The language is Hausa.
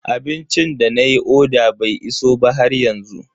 Abincin da nayi oda bai iso ba haryanzu.